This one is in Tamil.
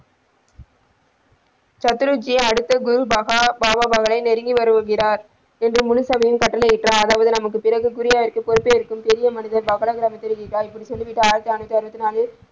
சத்ரு ஜி அடுத்த குரு பாபா அவர்களை நெருங்கி வருகிறார் என்று முழு சபையிலும் கட்டளை இட்டார் அதாவது அடுத்து நமக்கு பிறகு குருவாயிற்கு பொறுப்பேற்க பெரிய மனிதர இப்பிடி சொல்லிவிட்டு ஆயரத்தி அரனுத்தி ஆறுபத்தி நாளில்.